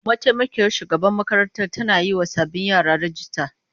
Mataimakiyar shugaban makarantar tana yiwa sabbin yara rijista.